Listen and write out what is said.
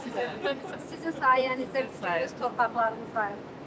Sizə sayənizdədir, sizin sayənizdədir bizim torpaqlarımız.